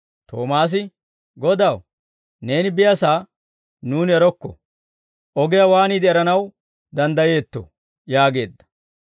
Toomaasi, «Godaw, neeni biyaasaa nuuni erokko; ogiyaa waaniide eranaw danddayeetto?» yaageedda.